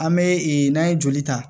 An bɛ ee n'an ye joli ta